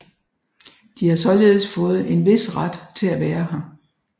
De har således fået en vis ret til at være her